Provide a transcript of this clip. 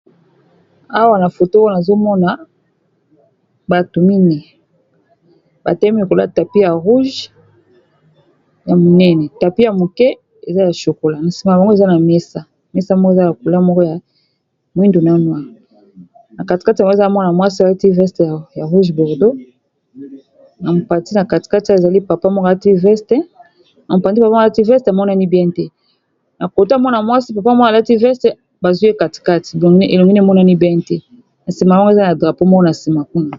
Awa na foto oyo, nazo mona bato mine, ba telemi likolo ya tapi ya rouge ya munene. Tapi ya mukie, eza ya shokola. Na nsima na bango, mesa mesa moko eza na couleur moko ya mwindu na noir. Na katikati na bango, eza na mwana mwasi, alati veste ya rouge bordo. Na mopati, na katikati ezali na papa moko alati veste. Na mopati vraiment alati veste emonani bien te. Na kote ya mwana mwasi, papa moko alati veste bazwi ye katikati ; donc elongi na ye emonani bien te. Na nsima na bango, eza na drapo moko na nsima kuna.